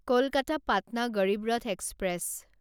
Kolkata Patna Garib Rath express